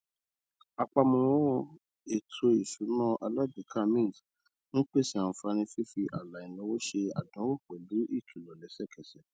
àpamọ ètò ìsúná alágbèéká mint ń pèsè àǹfààní fífi ààlà ináwó ṣe àdánwò pẹlú ìkìlọ lẹsẹkẹsẹ